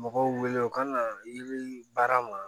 Mɔgɔw wele u ka na i bi baara ma